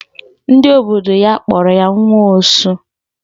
Ndị obodo ya kpọrọ ya nwa osu.